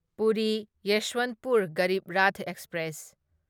Puri Yesvantpur Garib Rath express